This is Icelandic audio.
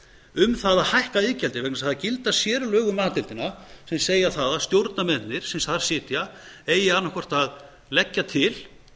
um það að hækka iðgjaldið vegna þess að það gilda sérlög um a deildina sem segja það að stjórnarmennirnir sem þar sitja eigi annaðhvort að leggja til